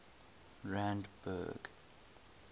randburg